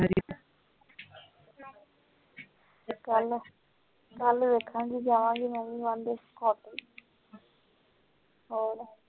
ਚਾਲ ਕਲ ਵੇਖ ਗਏ ਵਿਆਹ ਵਾਲੀ ਲੈ ਕੇ